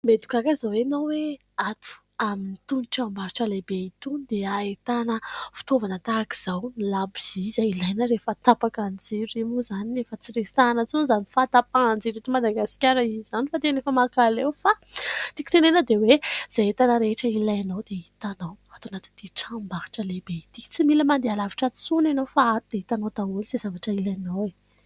Mety ho gaga izao ianao hoe ato amin'ny tranombarotra lehibe ito dia ahitana fitaovana tahaka izao ; ny labozia izay ilaina rehefa tapaka ny jiro, io moa izany efa tsy resahana intsony izany fahatapahan-jiro eto Madagasikara izany fa tena efa mankaleo fa tiako tenenana dia hoe izay entana rehetra ilainao dia hitanao ato anaty tranombarotra lehibe ity tsy mila mandeha alavitra intsony ianao fa ato dia hitanao daholo izay zavatra ilainao.